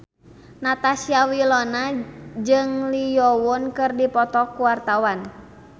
Natasha Wilona jeung Lee Yo Won keur dipoto ku wartawan